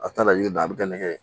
A t'a la i ye dan bɛ kɛ nɛgɛ ye